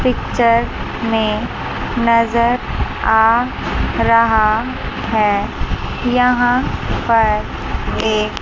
picture में नज़र आ रहा है यहां पर एक --